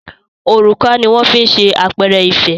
òrùka ní wón fí ṣe àpẹrẹ ìfẹ